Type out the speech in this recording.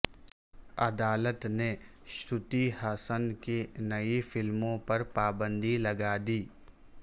عدالت نے شروتی ہاسن کی نئی فلموں پر پابند ی لگا دی